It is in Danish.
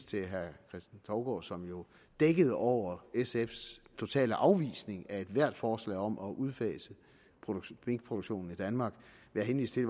til herre kristen touborg som jo dækkede over sfs totale afvisning af ethvert forslag om at udfase minkproduktionen i danmark ved at henvise til